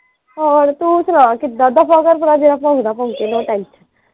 ਹੋਰ ਤੂੰ ਸੁਣਾ ਕਿੱਦਾਂ ਦਫ਼ਾ ਕਰ ਜਿਹੜਾ ਜਿਹੜਾ ਭੌਂਕਦਾ ਭੋਂਕੇ ਕੋਈ tension ਨਹੀਂ।